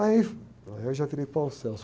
Aí, aí eu já criei.